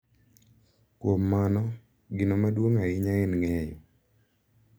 Kuom mano, gino maduong’ ahinya en ng’eyo .